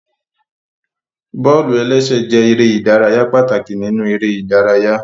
Bọ́ọ̀lù-ẹlẹ́sẹ̀ jẹ erè ìdárayá pàtàkì nínú eré ìdárayá